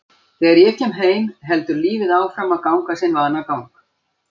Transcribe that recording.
Þegar ég kem heim heldur lífið áfram að ganga sinn vanagang.